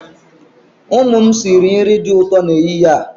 Ụmụ m sịrị nri dị ụtọ n'ehihie a.